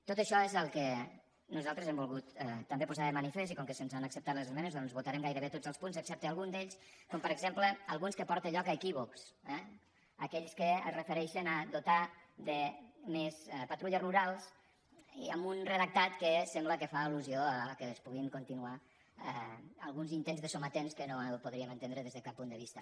tot això és el que nosaltres hem volgut també posar de manifest i com que se’ns han acceptat les esmenes doncs votarem gairebé tots els punts excepte algun d’ells com per exemple alguns que porten lloc a equí vocs eh aquells que es refereixen a dotar de més patrulles rurals amb un redactat que sembla que fa allusió que es puguin continuar alguns intents de sometents que no podríem entendre des de cap punt de vista